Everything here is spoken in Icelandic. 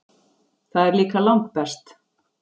Það er líka langbest.